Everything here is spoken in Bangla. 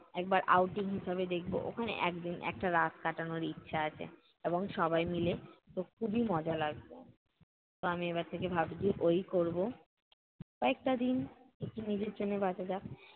একবার outing হিসেবে দেখবো। ওখানে একদিন একটা রাত কাটানোর ইচ্ছা আছে এবং সবাই মিলে খু~খুবই মজা লাগবে। তো আমি এবার থেকে ভাবছি ঐ-ই করব। কয়েকটা দিন একটু নিজের জন্য বাঁচা যাক।